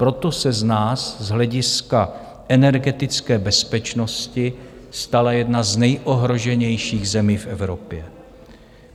Proto se z nás z hlediska energetické bezpečnosti stala jedna z nejohroženějších zemí v Evropě.